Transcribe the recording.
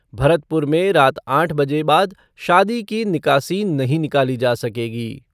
भरतपुर में रात आठ बजे बाद शादी की निकासी नहीं निकाली जा सकेगी।